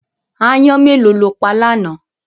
Aáyán mélòó lo pa lánàá?